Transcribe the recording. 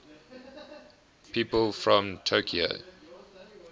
people from tokyo